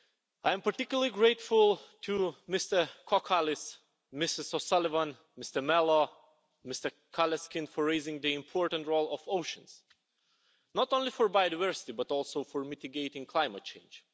I am particularly grateful to Mr Kokkalis, Ms O'Sullivan, Mr Melo and Mr Karleskind for raising the important role of oceans not only for biodiversity but also for mitigating climate change.